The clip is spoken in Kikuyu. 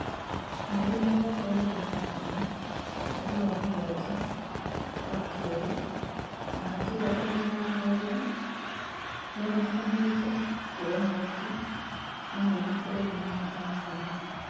Mweri mĩrongo ĩrĩ na ĩmwe mweri wa Mũgwanja Wa Keerĩ, mahaki thoko-inĩ ya mawĩra nĩyonekanĩte kuoya mweke mũnene bũrũri-inĩ wa Tanzania